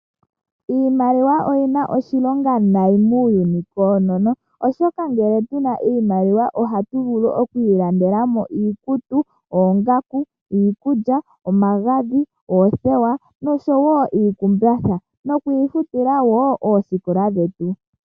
Iimaliwa oyina oshilonga nai muuyuni koonono, oshoka ngele tuna iimaliwa ohatu vulu oku ilandela mo iikutu, oongaku, iikulya, omagadhi, oothewa nosho wo iikumbatha, noku ifutila wo oosikola dhetu.